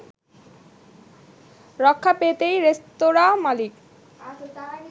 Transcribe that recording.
রক্ষা পেতেই রেস্তোরাঁ মালিক